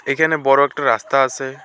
এইখানে বড় একটা রাস্তা আসে।